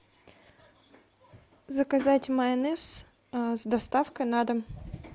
заказать майонез с доставкой на дом